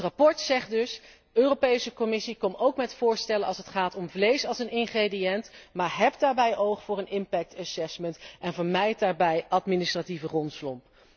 Het verslag zegt dus Europese Commissie, kom ook met voorstellen als het gaat om vlees als ingrediënt, maar heb daarbij oog voor een impact assessment en vermijd daarbij administratieve rompslomp.